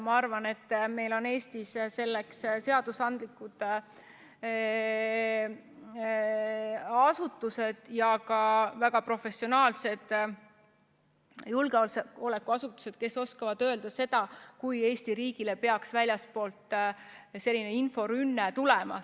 Ma arvan, et meil on Eestis selleks seadusandlikud asutused ja ka väga professionaalsed julgeolekuasutused, kes oskavad öelda, kui Eesti riigile peaks väljastpoolt selline inforünne tulema.